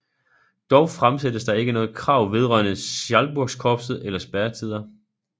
Dog fremsættes der ikke noget krav vedrørende Schalburgkorpset eller spærretider